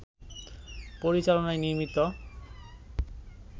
পরিচালনায় নির্মিত